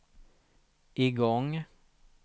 igång